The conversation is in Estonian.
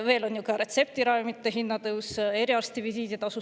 Tõusevad ju ka retseptiravimite hinnad ja suureneb eriarsti visiiditasu.